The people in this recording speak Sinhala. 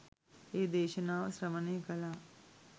ඒ දේශනාව ශ්‍රවණය කළා.